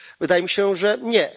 Wydaje mi się, że nie.